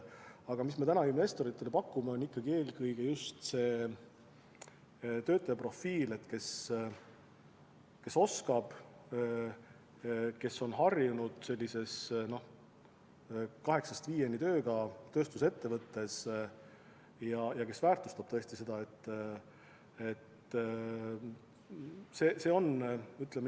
Aga mida me täna investoritele pakume, on ikkagi eelkõige just see töötaja, kes on harjunud tegema kaheksast viieni tööd tööstusettevõttes ja kes tõesti seda tööd väärtustab.